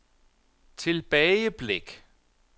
tilbageblik